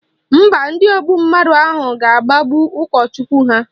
Mba, ndị ogbu mmadụ ahụ ga-agbagbu ụkọchukwu ha